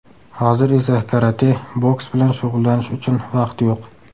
Hozir esa karate, boks bilan shug‘ullanish uchun vaqt yo‘q.